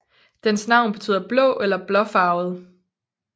Dens navn betyder blå eller blåfarvet